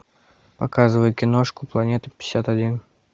показывай киношку планета пятьдесят один